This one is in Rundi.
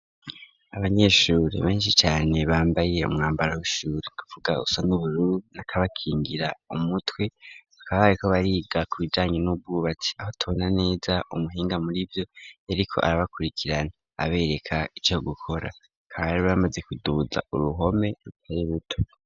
Abanyeshuri beshi cane bambaye umwambaro wishuri nukuvuga usa n'ubururu nakabakingira umutwe bakaba bariko bariga ku bijanye n'ubwubatsi aho tubona neza umuhinga murivyo yariko arabakurikirana abereka ico gukora bakaba bari bamaze kuduza uruhome rutari ruto.